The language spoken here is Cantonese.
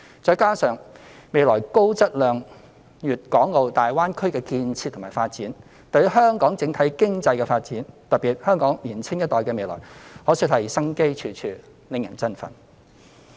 再加上未來高質量的粵港澳大灣區建設和發展，對於香港整體經濟的發展，特別是香港年青一代的未來，可說是生機處處，令人振奮。